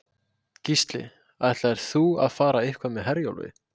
Gísli: Ætlaðir þú að fara eitthvað með Herjólfi?